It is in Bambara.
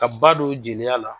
Ka ba don jeliya la.